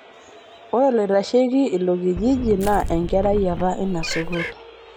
Ore oloitasheki ilo kijiji na enkarai apa inasukuul